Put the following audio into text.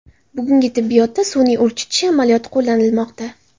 Bugungi tibbiyotda sun’iy urchitish amaliyoti qo‘llanilmoqda.